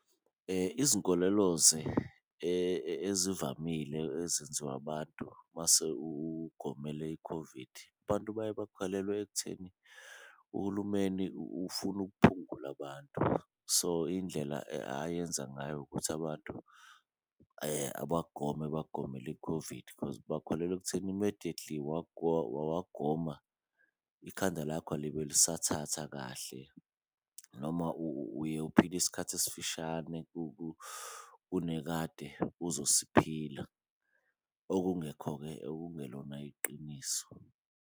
Izinkoleloze ezivamile ezenziwa abantu mase ugomele i-COVID abantu baye bakholelwe ekutheni uhulumeni ufuna uphungula abantu, so indlela ayenza ngayo ukuthi abantu abagome bagomele i-COVID. Khozi bakholelwa ekutheni immediately wagoma ikhanda lakho alibe lisathatha kahle, noma uye uphile isikhathi esifishane kune kade uzosipha, okungekho-ke okungelona iqiniso.